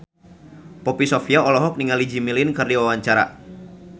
Poppy Sovia olohok ningali Jimmy Lin keur diwawancara